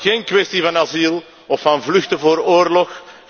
Geen kwestie van asiel of van vluchten voor oorlog.